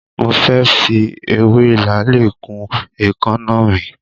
Mo fẹ́ fi ewé làálì kun èékánná mi.